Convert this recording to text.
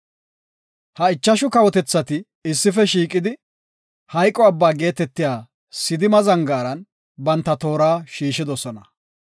Ha ichashu kawotethati issife shiiqidi Maxine Abba geetetiya Sidima zangaaran banta toora shiishidosona.